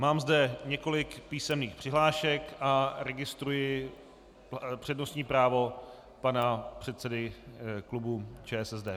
Mám zde několik písemných přihlášek a registruji přednostní právo pana předsedy klubu ČSSD.